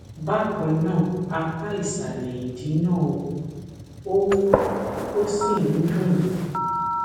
bákan náà apá ìsàlẹ ìdí náà wú ó wú ó sì ń dún mi